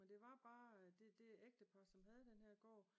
Men det var bare det det ægtepar som havde den her gård